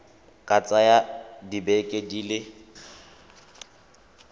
ka tsaya dibeke di le